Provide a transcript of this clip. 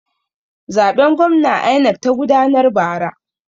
Zaben gwamna INEC ta gudanar bara.